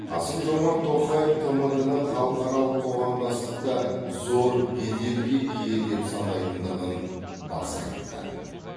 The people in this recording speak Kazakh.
қасым жомарт тоқаев тмд ны халықаралық қоғамдастықта зор беделге ие деп санайтындығын баса айтты